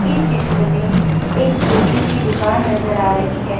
इस चित्र में एक छोटी सी दुकान नजर आ रही हैं।